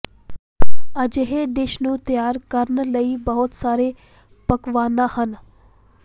ਅਜਿਹੇ ਡਿਸ਼ ਨੂੰ ਤਿਆਰ ਕਰਨ ਲਈ ਬਹੁਤ ਸਾਰੇ ਪਕਵਾਨਾ ਹਨ